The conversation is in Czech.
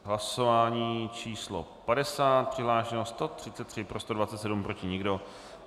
Hlasování číslo 50, přihlášeno 133, pro 127, proti nikdo.